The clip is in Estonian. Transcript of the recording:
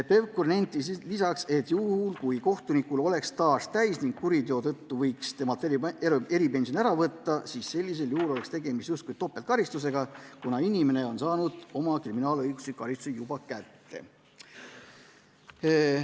Pevkur nentis lisaks, et kui kohtunikul oleks staaž täis ning kuriteo tõttu võiks temalt eripensioni ära võtta, siis sellisel juhul oleks tegemist justkui topeltkaristusega, kuna inimene on saanud oma kriminaalõigusliku karistuse juba kätte.